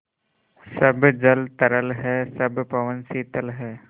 सब जल तरल है सब पवन शीतल है